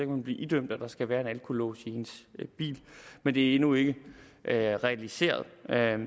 man blive idømt at der skal være en alkolås i ens bil men det er endnu ikke realiseret